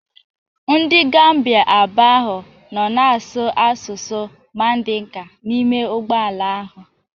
Ndị Gambia abụọ ahụ nọ na-asụ asụsụ Mandinka n'ime ụgbọ ala ahụ